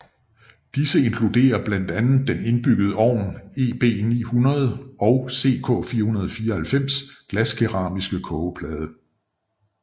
Disse inkluderer blandt andet den indbyggede ovn EB900 og CK494 glaskeramiske kogeplade